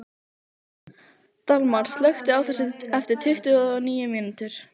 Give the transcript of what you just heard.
Dalmar, slökktu á þessu eftir tuttugu og níu mínútur.